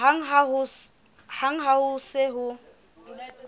hang ha ho se ho